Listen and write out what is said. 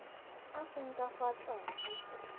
a seng ka fa tlase